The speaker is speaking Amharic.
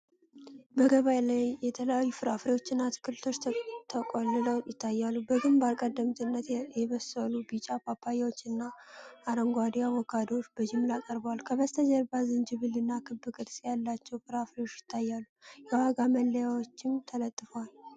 በገበያ ላይ የተለያዩ ፍራፍሬዎችና አትክልቶች ተቆልለው ይታያሉ። በግንባር ቀደምትነት የበሰሉ ቢጫ ፓፓያዎች እና አረንጓዴ አቮካዶዎች በጅምላ ቀርበዋል። ከበስተጀርባ ዝንጅብልና ክብ ቅርጽ ያላቸው ፍራፍሬዎች ይታያሉ፤ የዋጋ መለያዎችም ተለጥፈዋል።